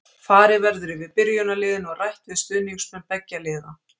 Farið verður yfir byrjunarliðin og rætt við stuðningsmenn beggja liða.